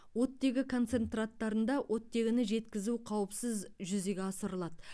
оттегі концентраттарында оттегіні жеткізу қауіпсіз жүзеге асырылады